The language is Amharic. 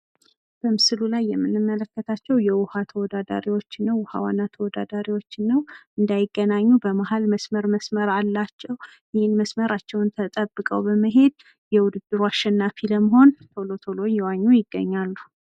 በምስሉ ላይ የምንመለከታቸው የውሀ ተወዳዳሪዎችን ነው። ውሀ ዋና ተወዳዳሪዎችን ነው። እንዳይገናኙ በመሀል በመሀል መስመር መስመር አላቸው። ይህንን መስመራቸውን በመጠበቅ በመሄድ የውድድሩ አሸናፊ ለመሆን ቶሎ ቶሎ እየኋኙ ይገኛሉ።